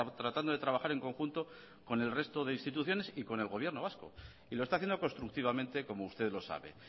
tratando de trabajar en conjunto con el resto de instituciones y con el gobierno vasco y lo está haciendo constructivamente como usted lo sabe